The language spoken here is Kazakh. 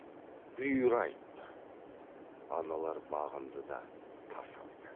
бұйыра айтты аналар бағынды да тас алды